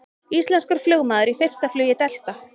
Íslenskur flugmaður í fyrsta flugi Delta